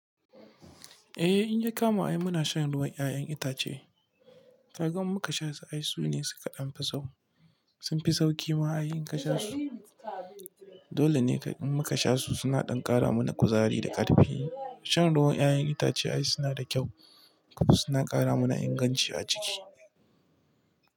Eh, inya kama ai muna shan ruwan 'ya'yan itace. Kagan muka sha su ai sune suka ɗanfi sauƙi. Sunfi sauƙi ma ai in kasha su. Dole ne in muka sha su suna ɗan ƙara mana kuzari da ƙarfi. Shan ruwan 'ya'yan itace ai suna da kyau kuma suna ƙara mana inganci a jiki.